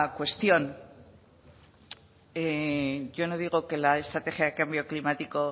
cuestión yo no digo que la estrategia de cambio climático